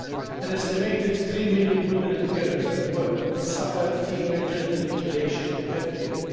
An estimated three million women and girls in the world suffer female genital mutilation every year.